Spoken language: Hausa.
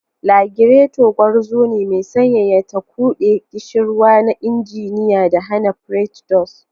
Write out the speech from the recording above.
Lagirato, gwarzo ne mai sanyaya, ta quɗe ƙishirwa na injiniya da hana pretdos.